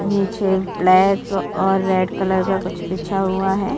नीचे ब्लैक और red colour का कुछ बिछा हुआ है।